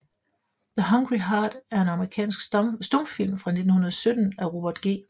The Hungry Heart er en amerikansk stumfilm fra 1917 af Robert G